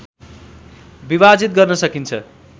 विभाजित गर्न सकिन्छ